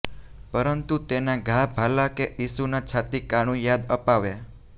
પરંતુ તેના ઘા ભાલા કે ઈસુના છાતી કાણું યાદ અપાવે